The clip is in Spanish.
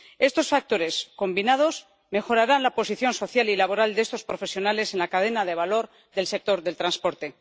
Estos factores, combinados, mejorarán la posición social y laboral de estos profesionales en la cadena de valor del sector del transporte.